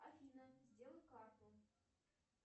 афина сделай карту